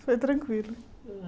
Foi tranquilo.